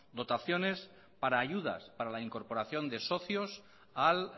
dotaciones para ayudas para la incorporación de socios al